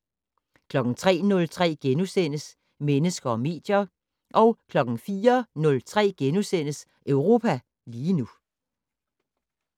03:03: Mennesker og medier * 04:03: Europa lige nu *